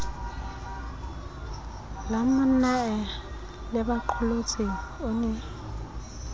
la monnae lebaqolotsi o ne